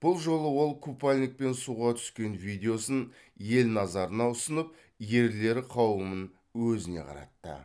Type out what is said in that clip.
бұл жолы ол купальникпен суға түскен видеосын ел назарына ұсынып ерлер қауымын өзіне қаратты